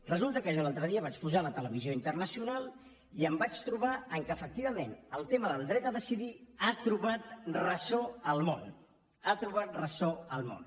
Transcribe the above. resulta que jo l’altre dia vaig posar la televisió internacional i em vaig trobar que efectivament el tema del dret a decidir ha trobat ressò al món ha trobat ressò al món